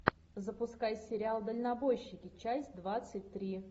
запускай сериал дальнобойщики часть двадцать три